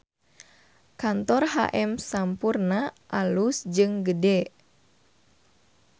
Kantor HM Sampoerna alus jeung gede